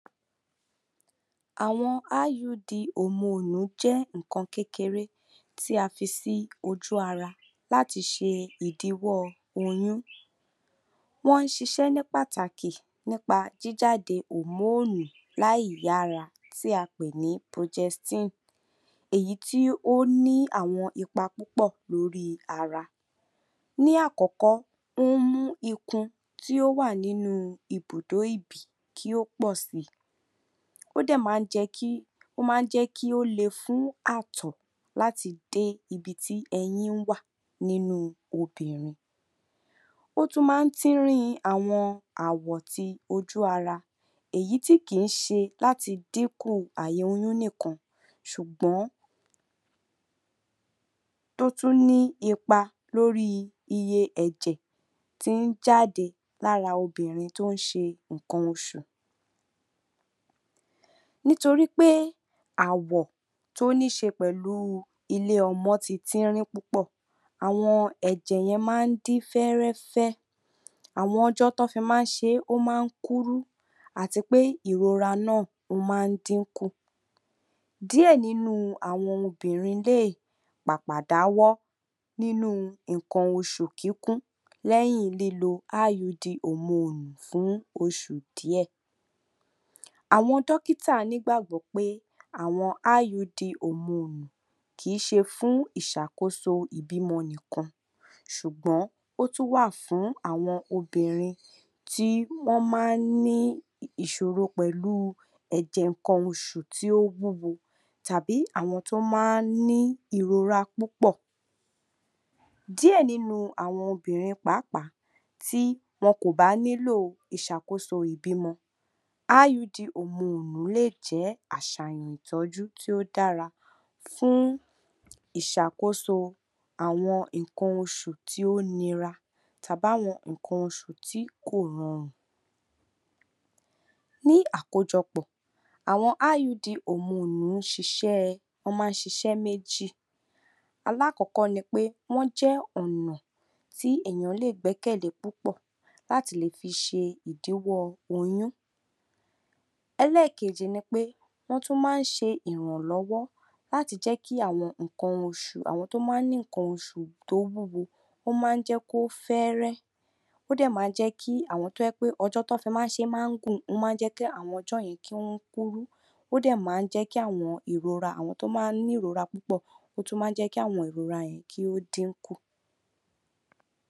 Àwọn IUD ohun èlò jẹ́ nǹkan kékeré tí a fi sí ojú ara láti ṣe ìdíwọ́ oyún. Wọ́n ń ṣiṣẹ́ ní pàtàkì nípa jíjáde hormone ààyè ara tí a pè ní progestin èyí tí ó ní àwọn ipa púpọ̀ lórí ara. Ní àkọ́kọ́ o ń mú itùn tí ó wà ní idùdó ìbí kí ó pọ̀ sí i. Ó dẹ̀ máa ń jẹ́ kí ó le fún àtọ̀ láti dé ibi tí ẹyin wà nínú obìnrin. Ó tún máa ń tín-ín-rín àwọn awọ ti ojú ara èyí tí kìí ṣe láti dínkù àìní oyún nìkan ṣùgbọ́n ó tún ní ipa lórí iye ẹ̀jẹ̀ tí ó ń jáde lára obìnrin tó ń ṣe nǹkan oṣù. Nítorí pé awọ tó níi ṣe jú pẹ̀lú ìlóyún ilé ọmọ ti tín-ín-rín púpọ̀, àwọn ẹ̀jẹ̀ yẹn máa ń dín fẹ́ẹ́rẹ́fẹ àwọn ọjọ́ tí wọn fi máa ń ṣe é, ó máa ń kúrú àti pé ìrora náà, ó máa ń dínkù. Díẹ̀ nínú àwọn obìnrin lè pàpà dáwọ́ nínú nǹkan osù gígùn lẹ́yìn lílo IUD olóyún fún oṣù díẹ̀. Àwọn dókítà nígbàgbọ́ pé àwọn IUD hormone kì í ṣe fún ìṣàkóso ìbímọ nìkan ṣùgbọn ó tún wà fún àwọn obìnrin tí wọn máa ń ní ìṣoro ẹ̀jẹ̀ nǹkan oṣù tí ó wúwo tàbí àwọn tó máa ǹ ní ìrora púpọ̀. Díẹ̀ nínú àwọn obìnrin pàápàá tí wọn kò bá nílò ìṣàkóso ìbímọ, IUD hormone lè ṣe àṣàyàn ìtọ́jú tí ó dára fún ìṣàkóso àwọn nǹkan oṣù tí ó nira tàbí àwọn nǹkan oṣù tí kò le. Ní àkójọpọ̀ àwọn IUD hormone wọn máa ǹ ṣiṣẹ́ méjì:- alákọ̀ọ́kọ́ ni pé wọn jẹ́ ọ̀nà tí ènìyàn lè gbẹ́kẹ̀lé púpọ̀ láti lè fi ṣe ìdíwọ́ oyún. Ẹlẹ́ẹ̀kejì ni pé wọn tún máa ń ṣe ìrànlọ́wọ́ láti jẹ́ kí àwọn nǹkan oṣù àwọn tó máa ń mú kí nǹkan oṣù kó wúwo jẹ́ kó fẹ́ẹ́rẹ́, ó dẹ̀ máa ń jẹ́ pé àwọn tí ọjọ́ ti wọn fi máa ń ṣe gùn kúrú. Ó dẹ̀ máa ń jẹ́ kí ìrọra àwọn tó máa ń ní ìrora púpọ̀, ó tún máa ń jẹ́ kí àwọn ìrora yìí kí ó dínkù.